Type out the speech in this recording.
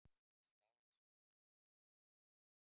Staðan sé ótæk.